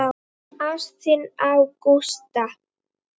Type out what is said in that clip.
Ást þína á Gústa.